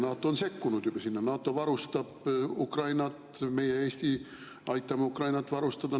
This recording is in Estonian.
NATO on sinna juba sekkunud, NATO varustab Ukrainat, meie aitame, Eesti aitab Ukrainat varustada.